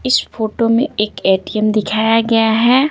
इस फोटो में एक ए_टी_एम दिखाया गया है।